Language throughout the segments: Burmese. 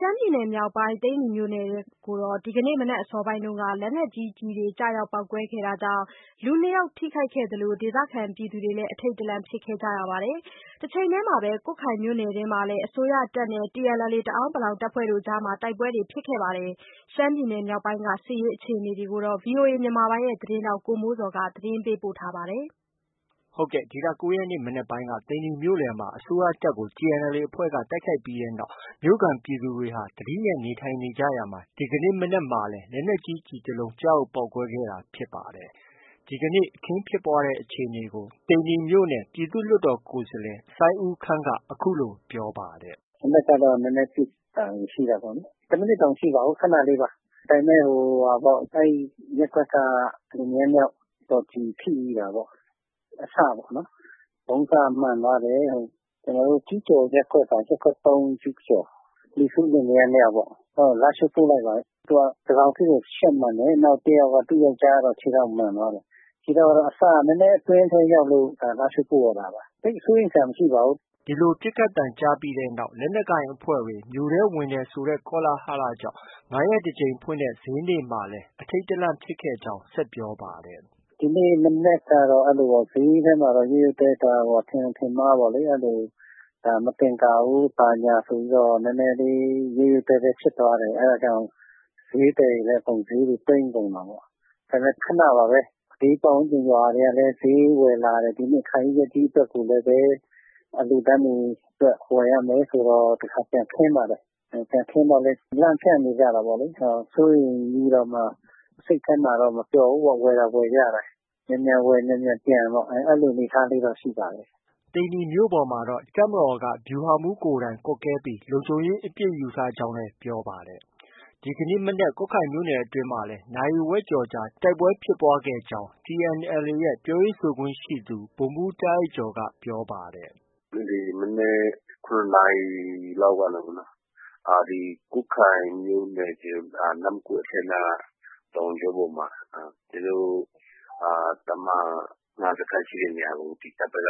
မ်းပြည်နယ်မြောက်ပိုင်း သိန္နီမြို့တွင်းကို ဒီကနေ့ မနက်အစောပိုင်းက လက်နက်ကြီးကျည်ကျ ရောက်ပေါက်ကွဲခဲ့တာကြောင့် လူ၂ယောက် ထိခိုက်ခဲ့သလို ဒေသခံပြည်သူတွေလည်း အထိတ်တလန့် ဖြစ်ခဲ့ကြပါတယ်။ တချိန်တည်းမှာပဲ ကွတ်ခိုင်မြို့နယ်ထဲမှာလည်း အစိုးရတပ်မတော်နဲ့ TNLA တအန်း တပ်ဖွဲ့အကြားမှာ တိုက်ပွဲဖြစ်ပွားတာတွေ ရှိနေပါတယ်။ ရှမ်းပြည်နယ်မြောက်ပိုင်းက အခြေအနေတွေကို ဗီအိုအေမြန်မာပိုင်းရဲ့သတင်းထောက် ကိုမိုးဇော်က တင်ပြထားပါတယ်။ ဒီလ ၉ရက်နေ့ မနက်ပိုင်းက သိန္နီမြို့လယ်မှာ အစိုးရတပ်ကို TNLA အဖွဲ့ တိုက်ခိုက်ပြီးတဲ့နောက် မြို့ခံပြည်သူတွေဟာ သတိနဲ့ နေထိုင်နေကြရာက ဒီကနေ့ မနက်မှာ လက်နက်ကြီး ကျည်တစ်လုံး ကျရောက်ပေါက်ကွဲ ခဲ့တာဖြစ်ပါတယ်။ ဒီကနေ့ အခင်းဖြစ်ပွားတဲ့အခြေအနေကို သိန္နီမြို့နယ် ပြည်သူ့လွှတ်တော်ကိုယ်စားလှယ် စိုင်းဦးခမ်းက အခုလို ပြောပါတယ်။ “ မနက်ကတော့ နည်းနည်းပစ်သံ ရှိတာပေါ့လေ။ တစ်မိနစ်တောင်မရှိပါဘူး။ ခဏလေးပါ။ ဒါပေမဲ့ အဲဒီရပ်ကွက်က လင်မယားနှစ်ယောက်တော့ ကျည်ထိတာပေါ့။ အစပေါ့။ ဗုံးစမှန်သွားတယ်။ ကျူးကျော်ရပ်ကွက်က။ ရပ်ကွက် ၃ကျူးကျော်က လီဆူးလင်မယားနှစ်ယောက်ပေါ့။ လားရှိုးပို့လိုက်ပါတယ်။ သူက တတောင်ဆစ်ကို ရှပ်မှန်တယ်။ သူ့ယောက်ျားကတော့ ခြေထောက်မှန်သွားတယ်။ ခြေထောက်တော့ အစက အတွင်းထဲ နည်းနည်းရောက်လို့သာ လားရှိုးပို့ရတာပါ။ သိပ်စိုးရိမ်စရာမရှိပါဘူး။” ဒီလိုပစ်ခတ်သံကြားပြီးနောက် လက်နက်ကိုင်အဖွဲ့တွေ မြို့ထဲ ဝင်တယ်ဆိုတဲ့ ကောလဟလကြောင့် ၅ရက်တစ်ကြိမ်ဖွင့်တဲ့ ဈေးနေ့မှာလည်း အထိတ်တလန့်ဖြစ်ခဲ့ကြောင်း ဆက်ပြောပါတယ်။ “ ဒီနေ့မနက်ကတော့ ဈေးထဲမှာတော့ ရုတ်ရုတ်သည်းသည်းဖြစ်သွားတာပေါ့။ ထင်ယောင် ထင်မှားပေါ့လေ။ မသင်္ကာဘူး၊ ဘာညာဆိုပြီးတော့ နည်းနည်း ရုတ်ရုတ်သည်းသည်းဖြစ်သွားတယ်။ ဈေးသည်တွေလည်း အကုန်ဈေးတွေ သိမ်းကုန်တာပေါ့။ ခဏပါပဲ။ ဘေးရွာတွေကလည်း ဈေးဝယ်လာတယ်။ အခါကြီး ရက်ကြီးအတွက်လည်း အလှုအတန်းတွေအတွက် ဝယ်ရမယ်ဆိုတော့ ပြန်ခင်းပါတယ်။ ပြန်ခင်းတော့လည်း လန့်ဖျန့်နေကြတာပေါ့လေ။ စိုးရိမ်ပြီးတော့မှ စိတ်ထဲမှာတော့ မပျော်ဘူးပေါ့။ ဝယ်သာ ဝယ်ကြရတာ။ မြန်မြန်ဝယ် မြန်မြန်ပြန်ပေါ့။ အဲလို အနေအထားလေးတော့ ရှိပါတယ်။” သိန္နီမြို့ပေါ်မှာတော့ တပ်မတော်က ဗျူဟာမှုးကိုယ်တိုင်ကွပ်ကဲပြီးလုံခြုံရေးအပြည့်ယူထားကြောင်း ပြောပါတယ်။ ဒီကနေ့ ကွတ်ခိုင်မြို့နယ်အတွင်းမှာလည်း နာရီဝက်ကျော် တိုက်ပွဲဖြစ်ပွားတာရှိကြောင်း TNLA ရဲ့ ပြောရေးဆိုခွင့်ရှိသူ ဗိုလ်မှုး တားအိုက်ကျော်က ပြောပါတယ်။ “ဒီမနက် ၇နာရီလောက်က ကွတ်ခိုင်မြို့နယ် နမ့်ကွတ်အထက်နားက တောင်ကြောပေါ်မှာ ကျနော်တို့ တပ်မဟာ ၅စခန်းရှိတဲ့နေရာကို တပ်ဘက်က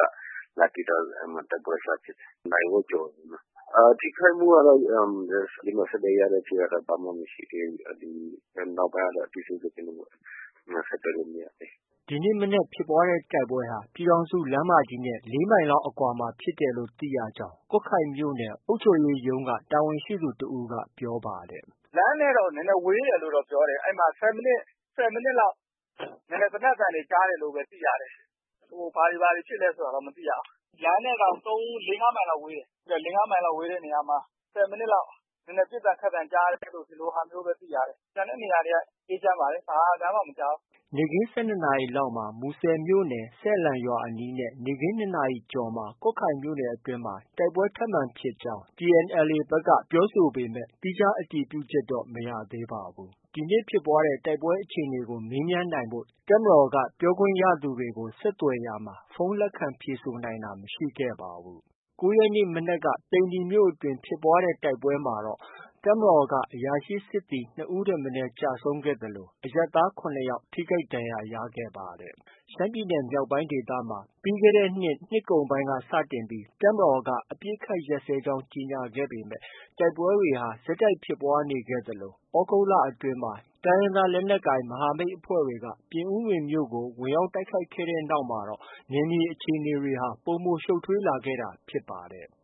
လာပစ်တော့ အဲဒီမှာ တိုက်ပွဲစဖြစ်တယ်။ နာရီဝက်ကျော်တယ်နော်။ ထိခိုက်မှုကတော့ အဆက်အသွယ်ရတဲ့အချိန်က ဘာမှ မရှိသေးဘူး။ နောက်ပိုင်းက အသေးစိတ် ကျနော်တို့ ဆက်သွယ်လို့ မရသေးဘူး။ ” ဒီကနေ့ မနက် ဖြစ်တဲ့တိုက်ပွဲဟာ ပြည်ထောင်စုလမ်းမကြီးနဲ့ ၄မိုင်လောက်အကွာမှာဖြစ်တယ်လို့ သိရကြောင်း ကွတ်ခိုင်မြို့နယ် အုပ်ချုပ်ရေးရုံးက တာဝန်ရှိသူတစ်ဦးက ပြောပါတယ်။ “ လမ်းနဲ့တော့ နည်းနည်းဝေးတယ်လို့တော့ ပြောတယ်။ အဲဒီမှာ ၁၀မိနစ်လောက် နည်းနည်းသေနတ်သံတွေ ကြားရတယ်လို့ပဲ သိရတယ်။ ဘာတွေ ဘာတွေ ဖြစ်လဲဆိုတာတော့ မသိရဘူး။ လမ်းနဲ့တောင် ၄- ၅မိုင်လောက် ဝေးတယ်။ ၄-၅မိုင်လောက် ဝေးတဲ့နေရာမှာ ၁၀မိနစ်လောက် ပစ်သံခတ်သံကြားတယ်လို့ပဲ သိရတယ်။ ကျန်တဲ့နေရာတွေက အေးချမ်းပါတယ်။ ဘာသံမှ မကြားဘူး။” နေခင်း ၁၂နာရီလောက်မှာ မူဆယ်မြို့နယ် ဆယ်လန့် ရွာအနီးနဲ့ နေ့ခင်း ၂နာရီကျော်မှာ ကွတ်ခိုင်မြို့နယ်အတွင်း တိုက်ပွဲထပ်မံဖြစ်ကြောင်း TNLAဘက်က ပြောပေမဲ့ သီးခြားအတည်ပြုချက်တော့ မရသေးပါဘူး။ ဒီနေ့ တိုက်ပွဲဖြစ်ပွားတဲ့အခြေအနေကို မေးမြန်းနိုင်ဖို့ တပ်မတော်က ပြောခွင့်ရသူတွေကို ဆက်သွယ်ရာမှာ ဖုန်း လက်ခံ ဖြေဆိုနိုင်တာ မရှိခဲ့ပါဘူး။ ၉ရက်နေ့ မနက်က သိန္နီမြို့အတွင်း ဖြစ်ပွားတဲ့တိုက်ပွဲမှာတော့ တပ်မတော်က အရာရှိ စစ်သည် ၂ဦးထက်မနည်း ကျဆုံးခဲ့သလို အရပ်သား ၇ယောက် ထိခိုက်ဒဏ်ရာရခဲ့ပါတယ်။ ရှမ်းပြည်နယ်မြောက်ပိုင်းဒေသမှာ ပြီးခဲ့တဲ့နှစ်ကုန်ပိုင်းက စတင်ပြီး တပ်မတော်က အပစ်အခတ်ရပ်စဲကြောင်း ကြေညာခဲ့ပေမဲ့ တိုက်ပွဲတွေဟာ ဆက်တိုက်ဖြစ်ပွားနေခဲ့သလို သြဂုတ်လအတွင်း တိုင်းရင်းသား လက်နက်ကိုင်မဟာမိတ်အဖွဲ့တွေက ပြင်ဦးလွင်မြို့ကို ဝင်ရောက်တိုက်ခိုက်ခဲ့တဲ့နောက်မှာ နယ်မြေအခြေအနေတွေဟာ ပိုမိုရှုပ်ထွေးလာခဲ့တာ ဖြစ်ပါတယ်။